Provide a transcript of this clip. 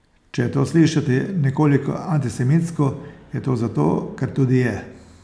Če je to slišati nekoliko antisemitsko, je to zato, ker tudi je.